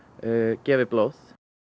gefið blóð